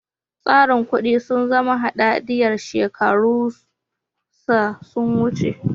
Tsarin kudi sun zama hadadiyar shekaru sa sun wuce.